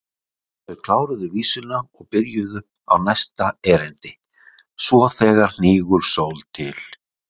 Þau kláruðu vísuna og byrjuðu á næsta erindi: SVO ÞEGAR HNÍGUR SÓL TIL